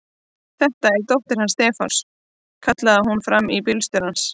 Þetta er dóttir hans Stefáns! kallaði hún fram í til bílstjórans.